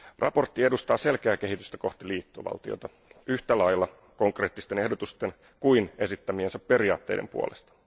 Mietintö edistää selkeää kehitystä kohti liittovaltiota yhtä lailla konkreettisten ehdotusten kuin esittämiensä periaatteiden puolesta.